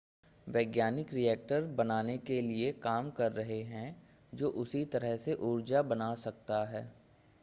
वैज्ञानिक रिएक्टर बनाने के लिए काम कर रहे हैं जो उसी तरह से ऊर्जा बना सकता है